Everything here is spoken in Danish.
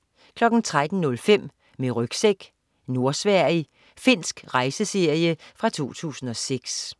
13.05 Med rygsæk: Nordsverige. Finsk rejseserie fra 2006